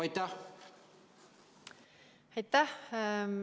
Aitäh!